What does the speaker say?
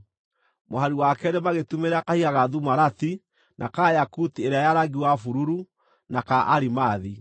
mũhari wa keerĩ magĩtumĩrĩra kahiga ga thumarati, na ka yakuti ĩrĩa ya rangi wa bururu, na ka arimathi;